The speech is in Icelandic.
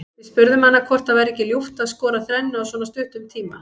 Við spurðum hana hvort það væri ekki ljúft að skora þrennu á svona stuttum tíma.